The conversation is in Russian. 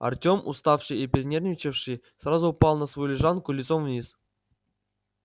артём уставший и перенервничавший сразу упал на свою лежанку лицом вниз